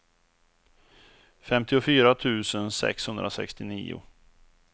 femtiofyra tusen sexhundrasextionio